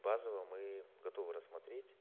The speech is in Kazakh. базово мы готовы рассмотреть